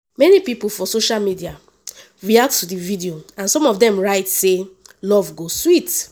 many pipo for social media react to di video and some of dem write say “love go sweet.”